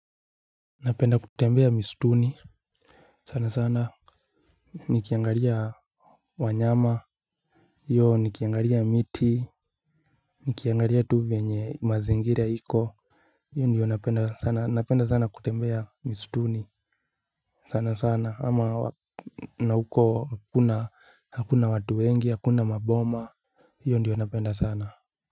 Napenda kutembea misituni sana sana. Nikiangalia wanyama hiyo nikiangalia miti nikiangalia tu vyenye mazingira iko. Hiyo ndiyo napenda sana, napenda sana kutembea misituni. Sana sana ama na huko kuna hakuna watu wengi hakuna maboma. Hiyo ndiyo napenda sana.